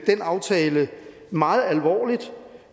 den aftale meget alvorligt